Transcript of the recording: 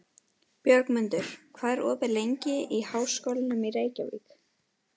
Björgmundur, hvað er opið lengi í Háskólanum í Reykjavík?